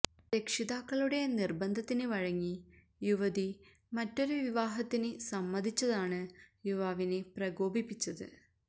രക്ഷിതാക്കളുടെ നിര്ബന്ധത്തിന് വഴങ്ങി യുവതി മറ്റൊരു വിവാഹത്തിന് സമ്മതിച്ചതാണ് യുവാവിനെ പ്രകോപിപ്പിച്ചത്